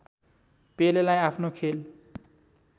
पेलेलाई आफ्नो खेल